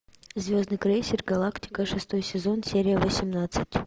звездный крейсер галактика шестой сезон серия восемнадцать